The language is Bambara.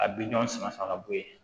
A bi ɲɔn sama fa ka bɔ ye